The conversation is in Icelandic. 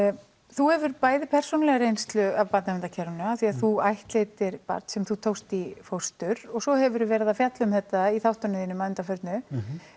þú hefur bæði persónulega reynslu af barnaverndarkerfinu af því þú ættleiddir barn sem þú tókst í fóstur og svo hefur þú verið að fjalla um þetta í þáttunum þínum að undanförnu